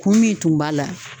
Kun min tun b'a la